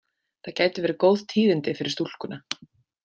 Það gætu verið góð tíðindi fyrir stúlkuna.